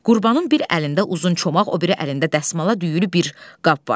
Qurbanın bir əlində uzun çomaq, o biri əlində dəsmala düyülü bir qab var.